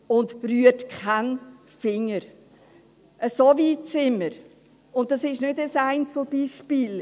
So weit sind wir, und dies ist kein Einzelbeispiel.